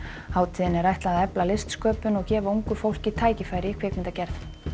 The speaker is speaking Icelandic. hátíðinni er ætlað að efla listsköpun og gefa ungu fólki tækifæri í kvikmyndagerð